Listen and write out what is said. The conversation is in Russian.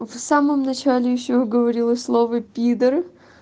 в самом начале ещё говорила слова пидр